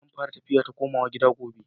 Zan fara tafiya ta komawa gida gobe.